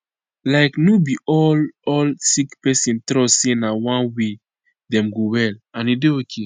like no be all all sick person trust say na one way dem go well and e dey ok